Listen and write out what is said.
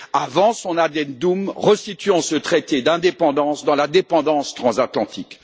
avant son addendum resituant ce traité d'indépendance dans la dépendance transatlantique